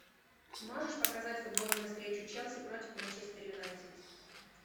можешь показать футбольную встречу челси против манчестер юнайтед